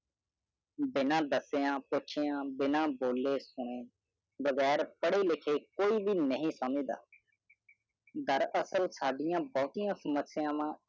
ਬੀਨਾ ਦਾਸਿਆ ਪੁਛਿਆ ਬਿਨਾ ਬੋਲਿ ਹੋਇ ਬਿਘਿਰ ਫਿਰਿ ਲਿਖਿ ਕੋਇ ਬ ਨਾਹ ਸਮਝਦਾ ਦਾਰ ਅਸਲ ਸਦ੍ਯ ਭੂਤ ਹਿ ਸਮਸ੍ਯ ਵਨ ॥